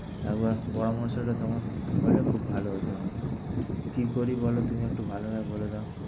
একবার পরামর্শটা তোমার মত হলে খুব ভালো হত। কী করি বল তুমি একটু ভালো ভাবে বলে দাও।